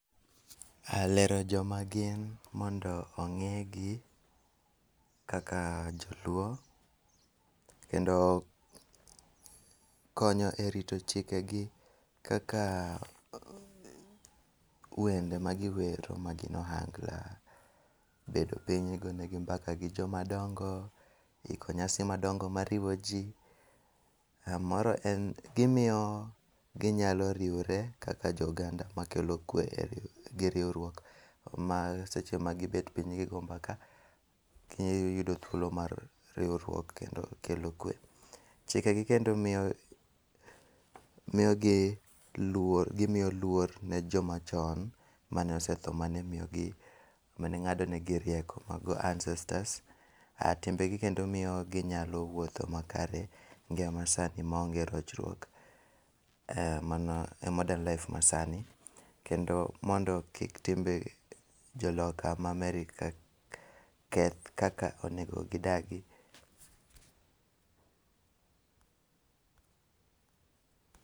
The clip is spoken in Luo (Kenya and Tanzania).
lero joma gin mondo ong'egi kaka joluo Kendo konyo e rito chike gi kaka wende ma giwero magin ohangla, bedo piny igone gi mbaka gi joma dongo iko nyasi madongo mariwo ji. moro en gimiyo ginyalo riwore kaka jo oganda ma kelo kwe gi riwruok mar seche ma gibet piny gigo mbaka gi yudo thuolo mar riwruok kendo kelo kue. Chike gi kendo miyogi luor gimiyo luor ne joma chon mane osetho mane miyogi, mane ng'ado negi e rieko mago ancestors. Timbe kendo miyo ginyalo wuotho makare sani maonge rochruok. Mano e modern life masani kendo mondo kik timbe joloka ma America keth kaka onego gidagi.